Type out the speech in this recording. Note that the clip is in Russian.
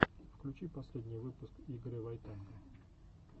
включи последний выпуск игоря войтенко